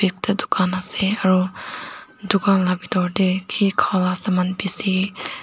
etu dukan ase aru dukan laga bithor tae kiki kha laga saman bishi.